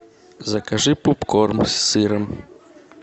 закажи попкорн с сыром